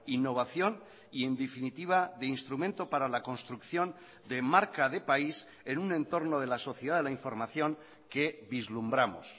innovación y en definitiva de instrumento para la construcción de marca de país en un entorno de la sociedad de la información que vislumbramos